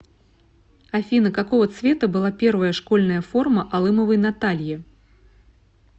афина какого цвета была первая школьная форма алымовой натальи